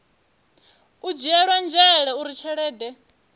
u dzhielwa nzhele uri tshelede